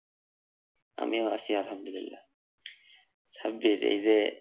আমিও আছি আলাহামদুলিল্লাহ। সাব্বির এই যে,